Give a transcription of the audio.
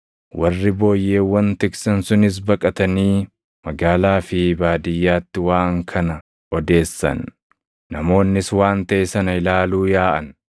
Warri booyyeewwan tiksan sunis baqatanii magaalaa fi baadiyyaatti waan kana odeessan; namoonnis waan taʼe sana ilaaluu yaaʼan.